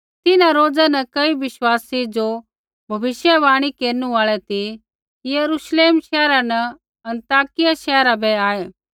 तिन्हां रोज़ा न कई बिश्वासी ज़ो भविष्यवाणी केरनु आल़ै ती यरूश्लेम शैहरा न अन्ताकिया शैहरा बै आऐ